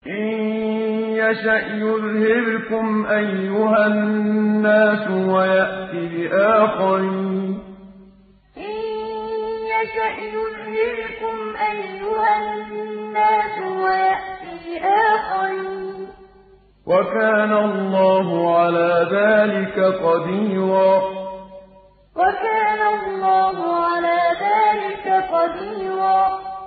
إِن يَشَأْ يُذْهِبْكُمْ أَيُّهَا النَّاسُ وَيَأْتِ بِآخَرِينَ ۚ وَكَانَ اللَّهُ عَلَىٰ ذَٰلِكَ قَدِيرًا إِن يَشَأْ يُذْهِبْكُمْ أَيُّهَا النَّاسُ وَيَأْتِ بِآخَرِينَ ۚ وَكَانَ اللَّهُ عَلَىٰ ذَٰلِكَ قَدِيرًا